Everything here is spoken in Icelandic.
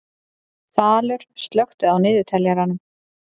Falur, slökktu á niðurteljaranum.